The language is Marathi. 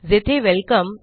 जेथे वेलकम